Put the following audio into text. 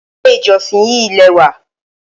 Ilé ìjọsìn yí lẹ́wà.